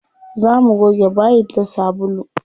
Za mu goge bayin da sabulu.